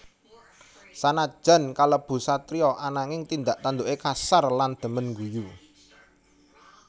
Sanajan kalebu satriya ananging tindak tanduké kasar lan dhemen ngguyu